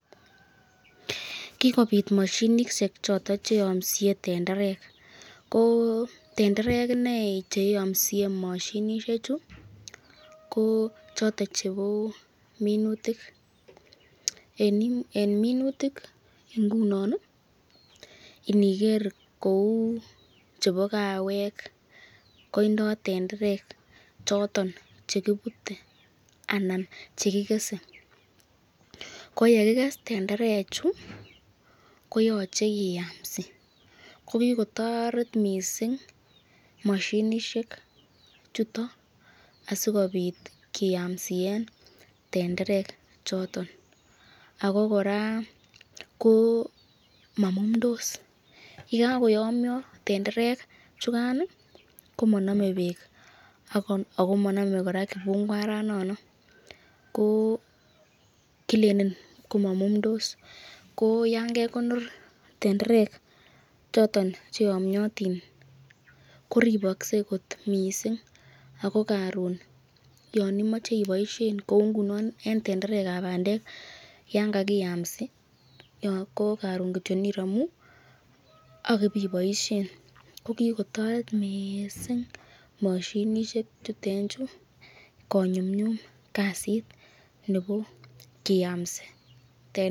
Kikobit mashinishek choton cheyamsie tenderek , tenderek che iyomsie mashinishek chu ko choton chebo minutik, Eng minutik ingunon iniger kou chebo kawek koindo tenderek choton chekibute anan kikese ,ko yekikikes bandek koyache kiyamsi